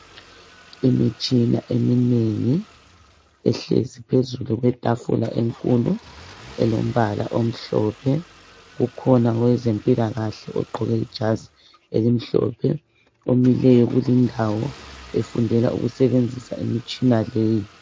Imitshina eminengi ehlezi phezu kwetafula enkulu elombala omhlophe kukhona owezempilakahle ogqoke ijazi elimhlophe omileyo kulindawo efundela ukusebenzisa imitshina leyi.